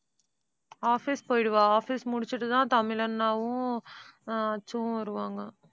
office போயிடுவா office முடிச்சிட்டுதான் தமிழ் அண்ணாவும் ஆஹ் அச்சுவும் வருவாங்க